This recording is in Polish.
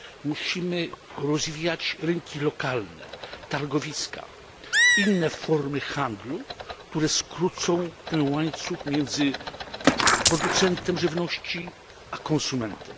Musimy też rozwijać rynki lokalne, targowiska, inne formy handlu, które skrócą ten łańcuch między producentem żywności a konsumentem.